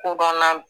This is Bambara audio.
Ko banna